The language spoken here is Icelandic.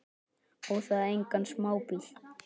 Og það engan smábíl.